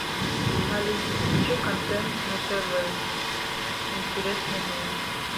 алиса включи контент на тв интересный мне